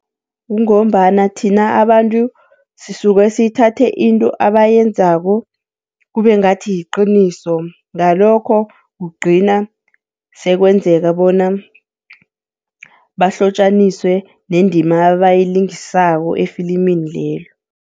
Kungombana thina abantu sisuke sithathe into abayenzako kube ngathi liqiniso, ngalokho kugcina sekwenzeka bona bahlotjaniswe nendima abayilingisako efilimini lelo.